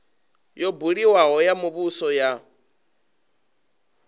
yo buliwaho ya muvhuso ya